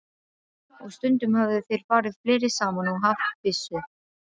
Og stundum höfðu þeir farið fleiri saman og haft byssu.